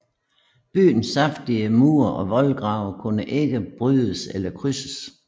Byens kraftige mure og voldgrave kunne ikke brydes eller krydses